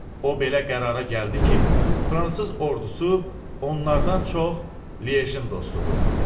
O belə qərara gəldi ki, fransız ordusu onlardan çox Liejin dostudur.